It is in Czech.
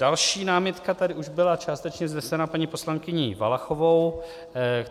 Další námitka tady už byla částečně vznesena paní poslankyní Valachovou.